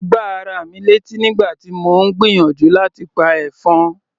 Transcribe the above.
Mo gbá ara mi létí nígbà tí mò ń gbìyànjú láti pa ẹ̀fọn.